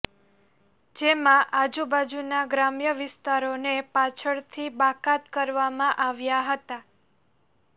જેમાં આજુબાજુના ગ્રામ્ય વિસ્તારોને પાછળથી બાકાત કરવામાં આવ્યા હતા